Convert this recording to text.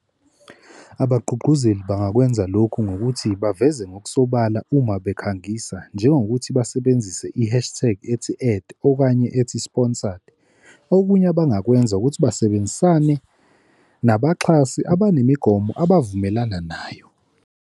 Abagqugquzeli bangakwenza lokhu ngokuthi baveze ngokusobala uma bekhangisa njengokuthi basebenzise i-hashtag ethi-ad okanye ethi-sponsored. Okunye abangakwenza ukuthi basebenzisane nabaxhasi abanemigomo abavumelana nayo.